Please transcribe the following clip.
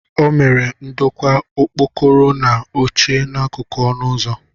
O mere ndokwa okpokorona oche n'akụkụ ọnụ ụzọ.